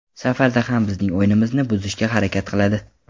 Safarda ham bizning o‘yinimizni buzishga harakat qiladi.